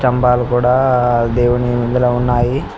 స్థభాలు కూడా ఆ దేవుని ముంద్ర ఉన్నాయి.